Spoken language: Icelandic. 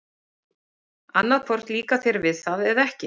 Annað hvort líkar þér við það eða ekki.